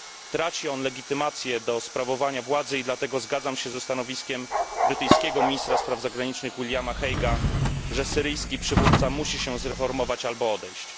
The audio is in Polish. Traci on legitymację do wykonywania władzy, i dlatego zgadzam się ze stanowiskiem brytyjskiego ministra spraw zagranicznych Williama Hague'a, że syryjski przywódca musi się zreformować albo odejść.